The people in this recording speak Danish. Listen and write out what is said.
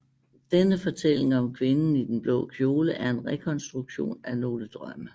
Denne fortælling om kvinden i den blå kjole er en rekonstruktion af nogle drømme